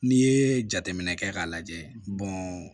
N'i ye jateminɛ kɛ k'a lajɛ